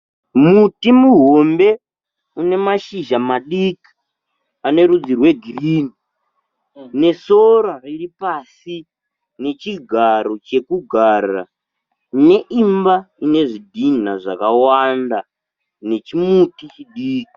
Muti muhombe une mashizha madiki ane rudzi rwegirini nesora riri pasi nechigaro chekugara neimba ine zvidhina zvakawanda nechimuti chidiki.